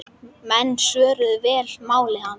Menn svöruðu vel máli hans.